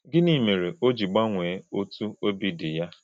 Gịnị mere o ji gbanwee otú obi dị ya?